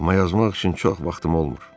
Amma yazmaq üçün çox vaxtım olmur.